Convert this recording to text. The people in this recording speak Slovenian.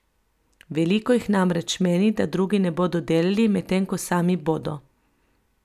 Veliko jih namreč meni, da drugi ne bodo delali, medtem ko sami bodo.